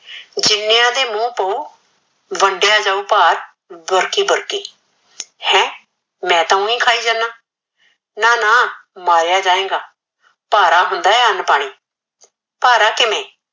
ਜਿਨਿਆ ਦੇ ਮੁਹ ਪਾਉ ਵਡਿਆ ਜਾਉ ਭਾਰ ਬੁਰਕੀ ਬੁਰਕੀ ਹੈ ਮੈ ਤਾ ਓਈ ਖਾਈ ਜਾਨਾ ਨਾ ਨਾ ਮਾਰਿਆ ਜਾਏਗਾ ਭਾਰਾ ਹੁੰਦਾ ਏ ਅਨ ਪਾਣੀ ਭਾਰਾ ਕਿਵੇ